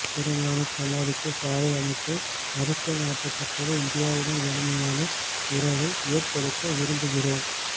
குருநானக் சமாதிக்கு சாலை அமைக்க அடிக்கல் நாட்டப்பட்டது இந்தியாவுடன் வலிமையான உறவை ஏற்படுத்த விரும்புகிறோம்